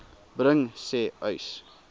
bring sê uys